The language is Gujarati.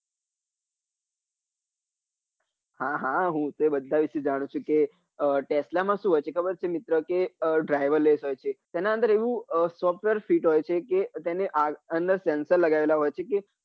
હા હા હૂબ તે બધા વિશે જાણું ચુ કે તે tesla માં શું હોય છે ખબર છે મિત્ર કે તે driver less હોય છે તેના અંદર એવું softwer ફીટ હોય છે કે તેની અંદર sensor લગાવેલા હોય છે કે